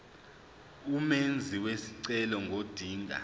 umenzi wesicelo ngodinga